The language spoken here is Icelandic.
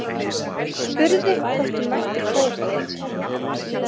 Spurði hvort hún mætti prófa.